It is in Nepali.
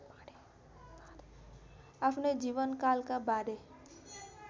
आफ्नै जीवनकालका बाँडे